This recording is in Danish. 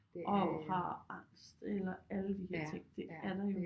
Og har angst eller alle de her ting det er der jo